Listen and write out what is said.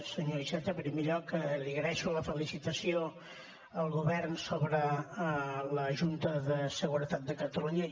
senyor iceta en primer lloc li agraeixo la felicitació al govern sobre la junta de seguretat de catalunya